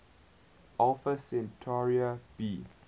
alpha centauri b